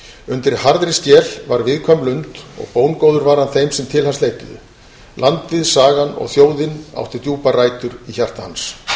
undir harðri skel var viðkvæm lund og bóngóður var hann þeim sem til hans leituðu landið sagan og þjóðin áttu djúpar rætur í hjarta hans